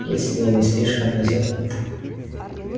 если я не слишком назойлив